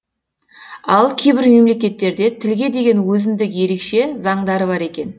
ал кейбір мемлекеттерде тілге деген өзіндік ерекше заңдары бар екен